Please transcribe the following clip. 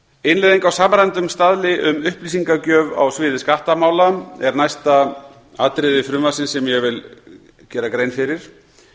innleiðing á samræmdum staðli um upplýsingagjöf á sviði skattamála er næsta atriði frumvarpsins sem ég vil gera grein fyrir